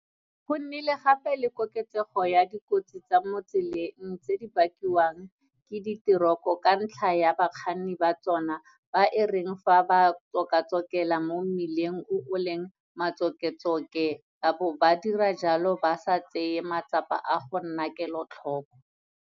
Go nnile gape le koketsego ya dikotsi tsa mo tseleng tse di bakiwang ke diteroko ka ntlha ya bakganni ba tsona ba e reng fa ba tsokatsokela mo mmileng o o leng matsoketsoke ba bo ba dira jalo ba sa tseye matsapa a go nna kelotlhoko.